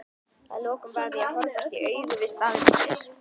að lokum varð ég að horfast í augu við staðreyndir.